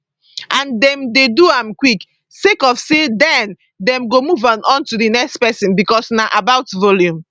and dem dey do am quick sake of say den dem go move on to di next pesin becos na about volume